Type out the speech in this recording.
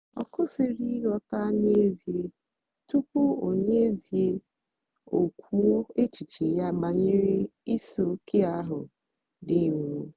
ọ kwụ́sị̀rì ị̀ghọ́ta n'ézìè tupu o n'ézìè tupu o kwùó èchìchè ya bànyèrè ìsìòké ahụ́ dị́ nrọ́.